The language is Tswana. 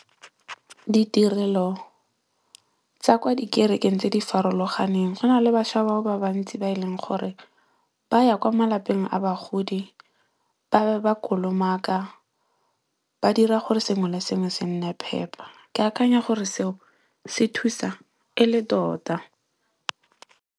Ditirelo, tsa kwa dikerekeng tse di farologaneng go na le bašwa bao ba bantsi ba e leng gore ba ya kwa malapeng a bagodi ba be ba kolomaka. Ba dira gore sengwe le sengwe se nne phepa. Ke akanya gore seo se thusa e le tota.